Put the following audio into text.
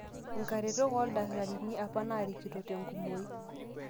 inkaretok ooldakitarini apa naarikito tenkumoi